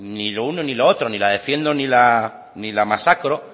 ni lo uno ni lo otro ni la defiendo ni la masacro